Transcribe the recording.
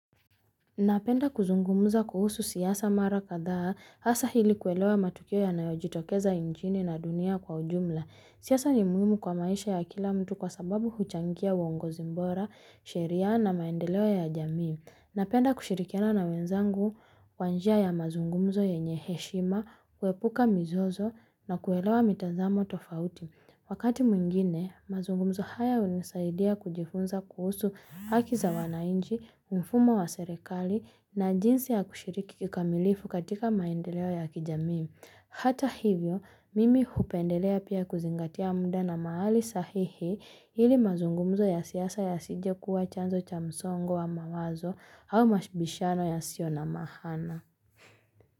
Napenda kuzungumuza kuhusu siasa mara kadhaa hasa ili kuelewa matukio ya nayojitokeza nchini na dunia kwa ujumla. Siasa ni muhimu kwa maisha ya kila mtu kwa sababu huchangia uongozi bora, sheria na maendeleo ya jamii. Napenda kushirikiana na wenzangu kwanjia ya mazungumzo yenye heshima, kuepuka mizozo na kuelewa mitazamo tofauti. Wakati mwingine, mazungumzo haya unisaidia kujifunza kuhusu haki za wananchi, mfumo wa serekali na jinsi ya kushiriki kikamilifu katika maendeleo ya kijamii. Hata hivyo, mimi hupendelea pia kuzingatia muda na mahali sahihi ili mazungumzo ya siasa yasije kuwa chanzo cha msongo wa mawazo au mabishano ya sio na maana.